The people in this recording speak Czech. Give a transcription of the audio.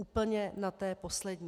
Úplně na té poslední.